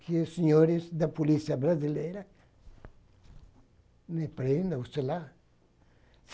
Que os senhores da Polícia Brasileira me prendam, sei lá.